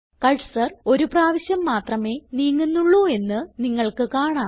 cursor ഒരു പ്രാവശ്യം മാത്രമേ നീങ്ങുന്നുള്ളൂ എന്ന് നിങ്ങൾക്ക് കാണാം